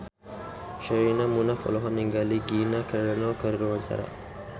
Sherina Munaf olohok ningali Gina Carano keur diwawancara